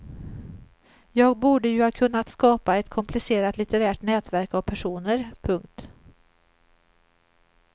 Jag borde ju ha kunnat skapa ett komplicerat litterärt nätverk av personer. punkt